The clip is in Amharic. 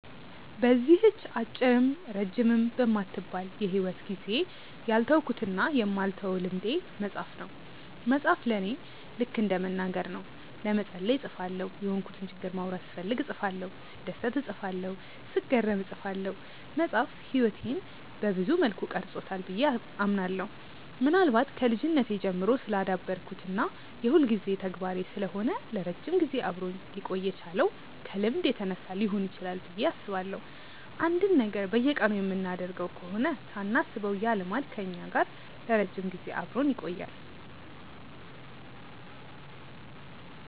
በዚህች አጭርም ረጅምም በማትባል የሂወት ጊዜዬ ያልተውኩትና የማልተወው ልምዴ መጻፍ ነው። መጻፍ ለኔ ልከ እንደ መናገር ነው። ለመጸለይ እጽፋለሁ፤ የሆንኩትን ችግር ማውራት ስፈልግ እጽፋለሁ፤ ስደሰት እጽፋለሁ፤ ስገረም እጽፋለሁ። መጻፍ ህይወቴን ሰብዙ መልኩ ቀርጾታል ብዬ አምናለሁ። ምናልባት ከልጅነቴ ጀምሮ ስላዳበርኩት እና የሁልጊዜ ተግባሬ ስለሆነ ለረጅም ጊዜ አብሮኝ ሊቆይ የቻለው ከልምድ የተነሳ ሊሆን ይችላል ብዬ አስባለሁ። አንድን ነገር በየቀኑ የምናደርገው ከሆነ ሳናስበው ያ ልማድ ከኛ ጋር ለረጅም ጊዜ አብሮን ይቆያል።